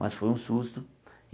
Mas foi um susto.